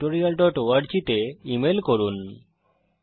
আরো বিস্তারিত জানার জন্য contactspoken tutorialorg তে লিখুন